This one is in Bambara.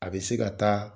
A bɛ se ka taa